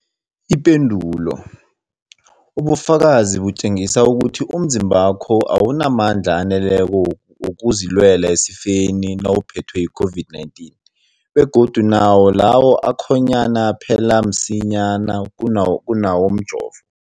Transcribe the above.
Ipendulo, ubufakazi butjengisa ukuthi umzimbakho awunamandla aneleko wokuzilwela esifeni nawuphethwe yi-COVID-19, begodu nawo lawo akhonyana aphela msinyana kunawomjovo.